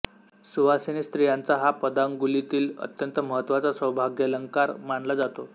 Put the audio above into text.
सुवासिनी स्त्रियांचा हा पदांगुलीतील अत्यंत महत्त्वाचा सौभाग्यालंकार मानला जातो